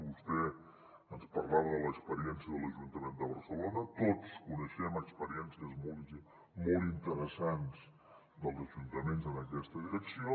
vostè ens parlava de l’experiència de l’ajuntament de barcelona tots coneixem experiències molt interessants dels ajuntaments en aquesta direcció